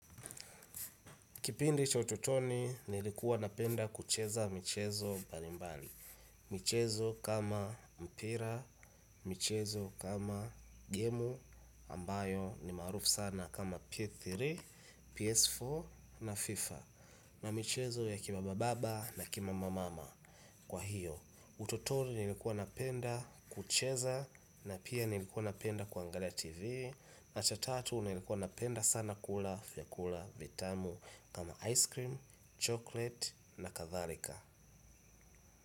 Kipindi cha utotoni nilikuwa napenda kucheza michezo mbali mbali, michezo kama mpira, michezo kama gemu ambayo ni marufu sana kama P3, PS4 na FIFA na michezo ya kima bababa na kima mamama kwa hiyo. Utotoni nilikuwa napenda kucheza na pia nilikuwa napenda kuangalia tv na cha tatu nilikuwa napenda sana kula vyakula vitamu kama ice cream, chocolate na kathalika.